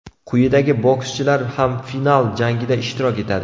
Quyidagi bokschilar ham final jangida ishtirok etadi: !